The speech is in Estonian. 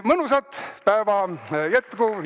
Mõnusat päeva jätku!